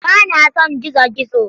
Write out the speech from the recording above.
Ba na son gizo-gizo.